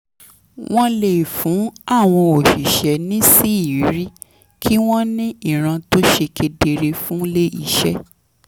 wọ́n lè fún àwọn òṣìṣẹ́ níṣìírí kí wọ́n ní ìran tó ṣe kedere fún ilé iṣẹ́